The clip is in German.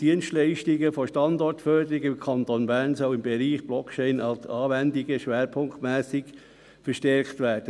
Die Dienstleistungen der Standortförderung im Kanton Bern sollen im Bereich Blockchain-Anwendungen schwerpunktmässig verstärkt werden.